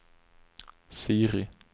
Siri